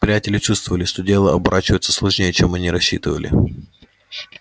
приятели чувствовали что дело оборачивается сложнее чем они рассчитывали